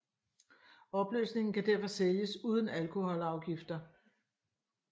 Opløsningen kan derfor sælges uden alkoholafgifter